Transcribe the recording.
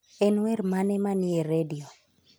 En wer mane manie redio?